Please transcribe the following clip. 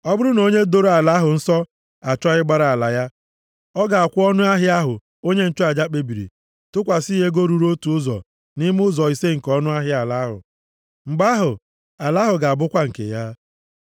Ọ bụrụ na onye doro ala ahụ nsọ achọọ ịgbara ala ya, ọ ga-akwụ ọnụahịa ahụ onye nchụaja kpebiri, tụkwasị ya ego ruru otu ụzọ nʼime ụzọ ise nke ọnụahịa ala ahụ. Mgbe ahụ ala ahụ ga-abụkwa nke ya.